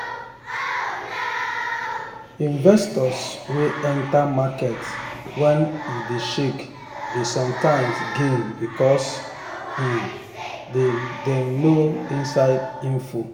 investors wey enter market when e dey shake dey sometimes gain because um dem dem know inside info.